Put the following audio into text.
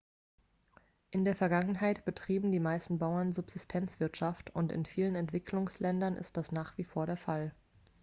in der vergangenheit betrieben die meisten bauern subsistenzwirtschaft und in vielen entwicklungsländern ist das nach wie vor der fall